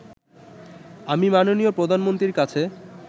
আমি মাননীয় প্রধানমন্ত্রীর কাছে